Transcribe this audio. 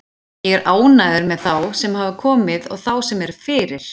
Ég er ánægður með þá sem hafa komið og þá sem eru fyrir.